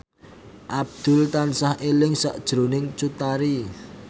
Abdul tansah eling sakjroning Cut Tari